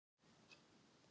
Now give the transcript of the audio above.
Ég spyr hana þá að því.